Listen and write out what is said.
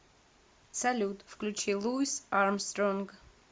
салют включи луис армстронг